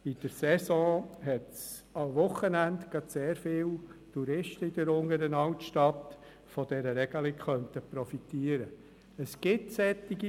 Damit gibt es einzelne Betriebe, die davon profitieren könnten – nicht extrem viele, aber es gibt sie.